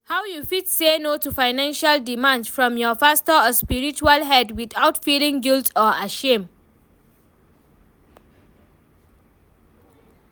how you fit say no to financial demands from your pastor or spiritual head without feeling guilt or ashamed?